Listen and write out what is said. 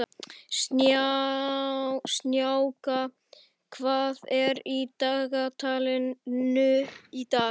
Snjáka, hvað er í dagatalinu í dag?